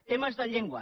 temes de llengua